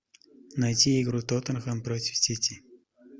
найти игру тоттенхэм против сити